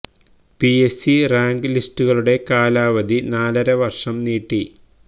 PS C rank ലിസ്റ്റുകളുടെ കാലാവധി നാലര വര്ഷം നീട്ടി